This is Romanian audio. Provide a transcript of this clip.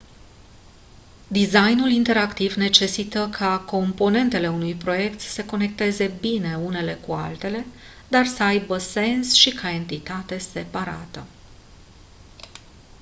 designul interactiv necesită ca componentele unui proiect să se conecteze unele cu altele dar să aibă sens și ca entitate separată